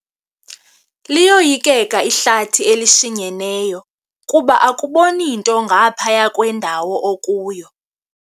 Liyoyikeka ihlathi elishinyeneyo kuba akuboni nto ngaphaya kwendawo okuyo.